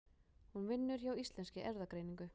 Hún vinnur hjá Íslenskri erfðagreiningu.